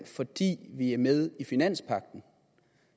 fordi vi er med i finanspagten